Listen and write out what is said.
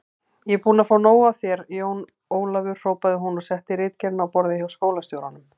Ég er búin að fá nóg af þér, Jón Ólafur hrópaði hún og setti ritgerðina á borðið hjá skólastjóranum.